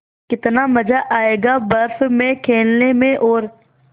कितना मज़ा आयेगा बर्फ़ में खेलने में और